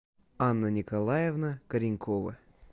анна николаевна коренькова